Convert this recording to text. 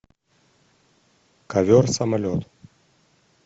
ковер самолет